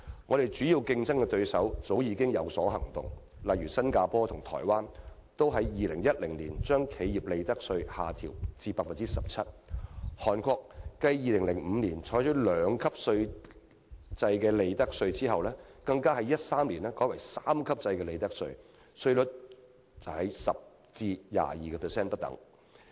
我們的主要競爭對手早已有所行動，例如新加坡和台灣都在2010年將企業利得稅下調至 17%， 韓國繼2005年採取兩級制利得稅後，更在2013年改為三級制利得稅，稅率由 10% 至 22% 不等。